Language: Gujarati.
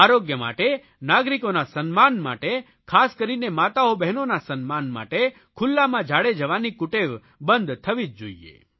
આરોગ્ય માટે નાગરિકોના સન્માન માટે ખાસ કરીને માતાઓબહેનોના સન્માન માટે ખુલ્લામાં ઝાડે જવાની કુટેવ બંધ થવી જ જોઇએ